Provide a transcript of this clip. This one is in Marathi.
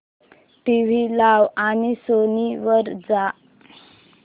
टीव्ही लाव आणि सोनी वर जा